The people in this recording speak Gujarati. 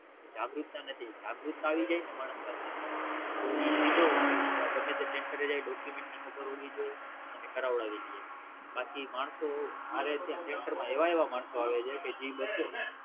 જાગૃતતા નથી જાગૃતતા આવી જાય ને માણસમાં તો ઈ સીધો ગમે તે Center જાય Document નું ખબર હોવી જોયે અને કરાવડાવી લિયે બાકી માણસો મારેત્યાં Sector માં એવા એવા માણસો આવે છે કે જી